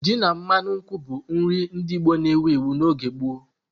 Ji na mmanu nkwụ bụ nri ndị Igbo na-ewu ewu n'oge gboo.